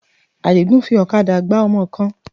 Àdìgún fi ọ̀kadà gbá ọmọ kan.